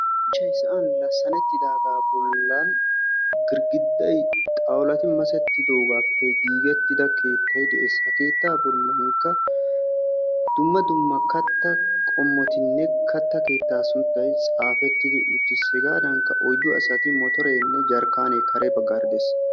shuchay sa'an lassanettidagaa bolan girggiday xawulati masettidoogaappe giigida keettay de'ees, ha keettaa bolankka dumma dumma katta qommotinne kataa keettaa sunttay xaafetti uttis hegadankka pudding asati motoree jarkaanee kare bagaara de'ees.